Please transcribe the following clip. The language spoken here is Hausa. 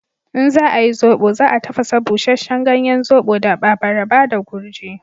In za ayi zobo, za a tafasa busheshen ganyen zobo da abaraba da gurji.